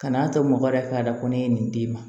Kan'a to mɔgɔ wɛrɛ ka da ko ne ye nin d'i ma